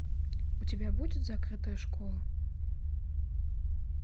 у тебя будет закрытая школа